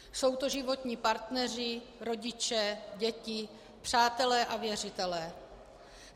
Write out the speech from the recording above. Jsou to životní partneři, rodiče, děti, přátelé a věřitelé.